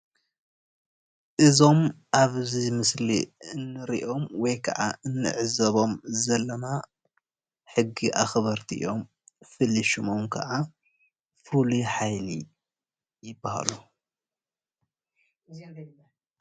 እዞም ኣብዚ ምስሊ እንርእዮም ወይከዓ እንዕዘቦም ዘለና ሕጊ ኣክበረቲ እዮም። ፍሉይ ሽሞም ከዓ ፍሉይ ሓይሊ ይበሃሉ።